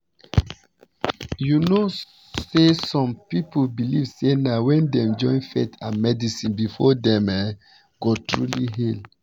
you know say some people believe say na wen dem join faith and medicine before dem um go truly heal